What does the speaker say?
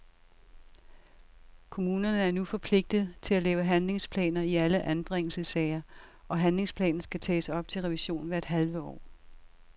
Kommunerne er nu forpligtet til at lave handlingsplaner i alle anbringelsessager, og handlingsplanen skal tages op til revision hvert halve år.